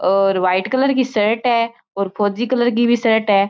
और white colour की shirt है और फौजी कलर की भी शर्ट है।